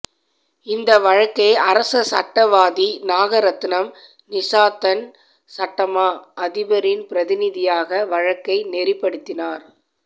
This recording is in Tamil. இந்த வழக்கை அரச சட்டவாதி நாகரட்னம் நிசாந்தன் சட்டமா அதிபரின் பிரதிநிதியாக வழக்கை நெறிப்படுத்தினார்